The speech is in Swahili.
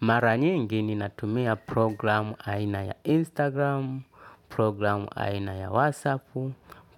Mara nyingi ni natumia programu aina ya Instagram, programu aina ya WhatsApp,